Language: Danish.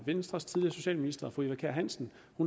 venstres tidligere socialminister fru eva kjer hansen